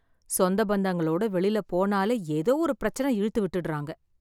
சொந்த பந்தங்களோட வெளியில போனாலே ஏதோ ஒரு பிரச்சனை இழுத்து விட்டுறாங்க.